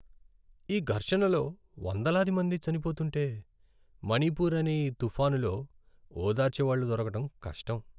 ఈ ఘర్షణలో వందలాది మంది చనిపోతుంటే, మణిపూర్ అనే ఈ తుఫానులో ఓదార్చే వాళ్ళు దొరకటం కష్టం.